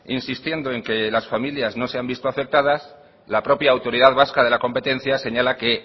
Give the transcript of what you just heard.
insistiendo en que las familias no se han visto afectadas la propia autoridad vasca de la competencia señala que